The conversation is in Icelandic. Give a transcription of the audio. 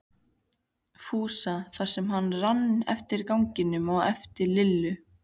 Fúsa þar sem hann rann eftir ganginum á eftir Lillu.